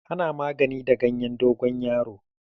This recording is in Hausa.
Ana magani da gayen dogon yaro